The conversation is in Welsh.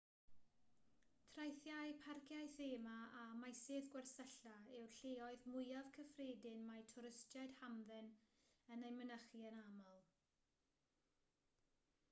traethau parciau thema a meysydd gwersylla yw'r lleoedd mwyaf cyffredin mae twristiaid hamdden yn eu mynychu yn aml